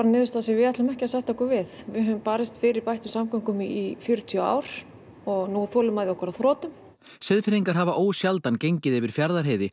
niðurstaða sem við ætlum ekki að sætta okkur við við höfum barist fyrir bættum samgöngum í fjörutíu ár og nú er þolinmæði okkar á þrotum Seyðfirðingar hafa ósjaldan gengið yfir Fjarðarheiði